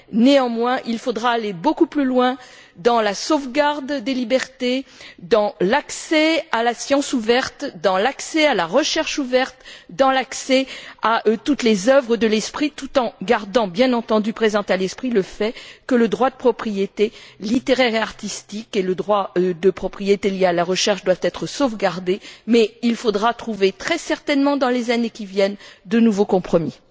Néanmoins, il faudra aller beaucoup plus loin dans la sauvegarde des libertés, dans l'accès à la science ouverte, dans l'accès à la recherche ouverte, dans l'accès à toutes les œuvres de l'esprit, tout en gardant bien entendu présent à l'esprit le fait que le droit de propriété littéraire et artistique et le droit de propriété lié à la recherche doivent être sauvegardés, mais qu'il faudra très certainement trouver, dans les années qui viennent, de nouveaux compromis.